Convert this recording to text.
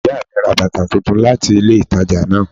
Ìyá mi ra bàtà titun láti ilé ìtajà náà